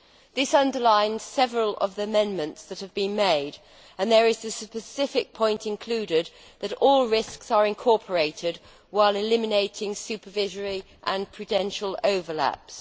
This underlines several of the amendments that have been made, and there is the specific point included that all risks are incorporated while eliminating supervisory and prudential overlaps.